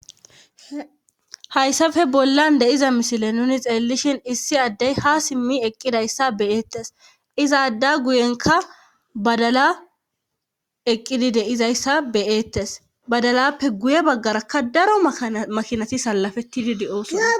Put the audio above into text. Hayssafe bollan deiza mishile nuni xeelishin issi addey ha simmi eqqidayssa beyeettes izaadda guyenka badala eqqidi deizayssa beyeettes badalappe guye baggaraka daro makinati sallafetidi di7ooso